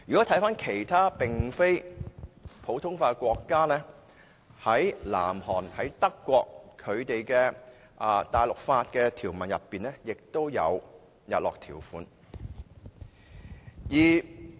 至於其他並非實行普通法的國家，例如南韓和德國，在其大陸法的條文內也有日落條款。